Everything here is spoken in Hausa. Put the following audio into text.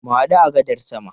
Mu hadu a gadar sama.